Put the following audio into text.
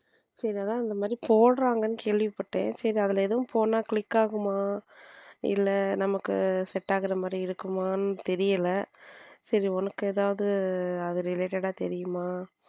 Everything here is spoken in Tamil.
சரி அதுதான் அந்த மாதிரி போடுறாங்கன்னு கேள்விப்பட்டேன் சரி அதுல எதுவும் போன click ஆகுமா இல்ல நமக்கு set ஆகிற மாதிரி இருக்கும்மான்னு தெரியல சரி உனக்கு ஏதாவது அது related ஆ தெரியுமா.